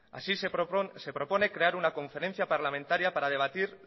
así se propone crear una conferencia parlamentaria para debatir